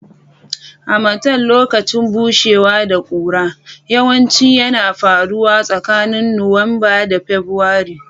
Harmattan, lokacin bushewa da ƙura, yawanci yana faruwa tsakanin Nuwamba da Fabrairu.